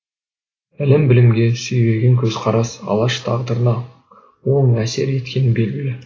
ілім білімге сүйреген көзқарас алаш тағдырына оң әсер еткені белгілі